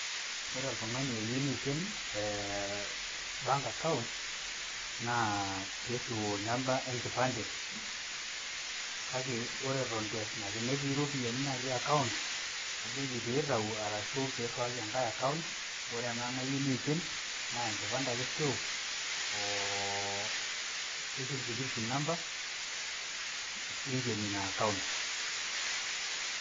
Ore oltung`ani oyieu neiken ee bank account naa pee irriu namba e nkipande. Kake ore eton eitu eas ina , tenitii ropiyiani natii account najoki peyie eitayu ashu irriwaki enkae account. Ore ena neyieu neiken naa enkipande ake eirriu oo social security number neikeni ina account.